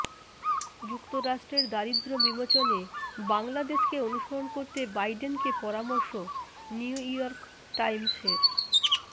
যুক্তরাষ্ট্রের দারিদ্র্য বিমোচনে বাংলাদেশকে অনুসরণ করতে বাইডেনকে পরামর্শ নিউইয়র্ক টাইমসের